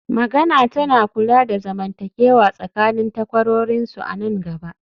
magana tana kula da zamantakewa tsakanin takwarorinsu a nan gaba